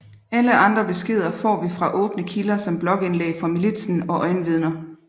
Alle andre beskeder får vi fra åbne kilder som blogindlæg fra militsen og øjenvidner